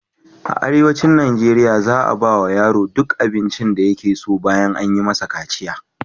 A arewacin Najeriya za a ba wa yaro duk abincin da yake so ɓayan an yi masa kaciya.